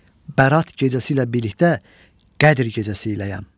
Bərat gecəsi ilə birlikdə Qədr gecəsi iləyəm.